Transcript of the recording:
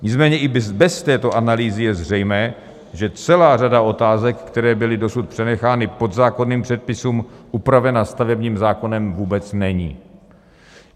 Nicméně i bez této analýzy je zřejmé, že celá řada otázek, které byly dosud přenechány podzákonným předpisům, upravena stavebním zákonem vůbec není.